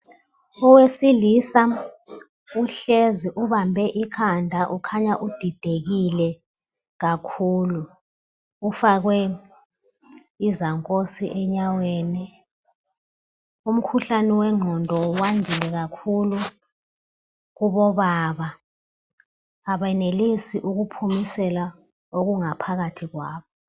Owesilisa uhlezi ubambe ikhanda ukhanya udidekile kakhulu ufakwe izankosi enyaweni umkhuhlane wengqondo wandile kakhulu kubobaba abenelisi ukuphumisela okungaphakathi kwabo